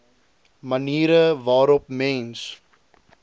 maniere waarop mens